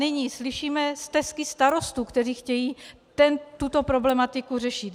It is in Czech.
Nyní slyšíme stesky starostů, kteří chtějí tuto problematiku řešit.